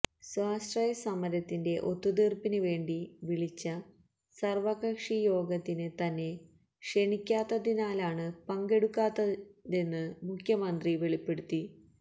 സ്വാശ്രയ സമരത്തിന്റെ ഒത്തുതീർപ്പിന് വേണ്ടി വിളിച്ച സർവ്വകക്ഷിയോഗത്തിന് തന്നെ ക്ഷണിക്കാത്തതിനാലാണ് പങ്കെടുക്കാഞ്ഞതെന്ന് മുഖ്യമന്ത്രി വെളിപ്പെടുത്തി